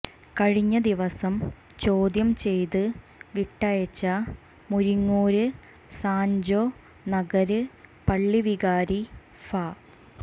കഴിഞ്ഞ ദിവസം ചോദ്യം ചെയ്ത് വിട്ടയച്ച മുരിങ്ങൂര് സാന്ജോ നഗര് പള്ളി വികാരി ഫാ